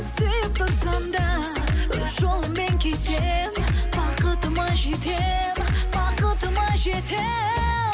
сүйіп тұрсам да өз жолыммен кетемін бақытыма жетемін бақытыма жетемін